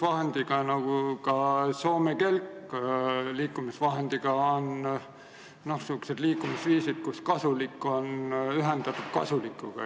Jalgratas nagu ka Soome kelk on sellised liikumisvahendid, mille puhul on kasulik ühendatud kasulikuga.